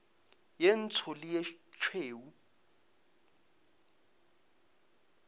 ye ntsho le ye tšhweu